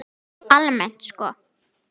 Almennt sko?